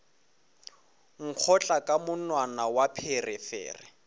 nkgotla ka monwana wa pherefere